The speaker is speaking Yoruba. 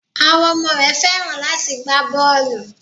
Àwọn ọmọ rẹ Fẹ́ràn láti gbá bọ́ọlù.